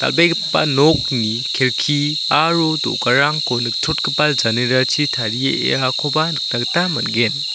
dal·begipa nokni kelki aro do·garangko nikchotgipa janerachi tariakoba nikna gita man·gen.